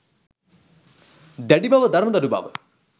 දැඩි බව, දරදඬු බව